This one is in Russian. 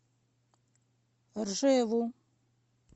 ржеву